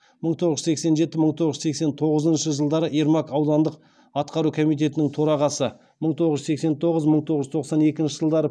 мың тоғыз жүз сексен жеті мың тоғыз жүз сексен тоғызыншы жылдары ермак аудандық атқару комитетінің торағасы мың тоғыз жүз сексен тоғыз мың тоғыз жүз тоқсан екінші жылдары